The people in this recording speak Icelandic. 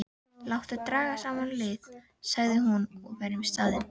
Láttu draga saman lið, sagði hún,-og verjum staðinn.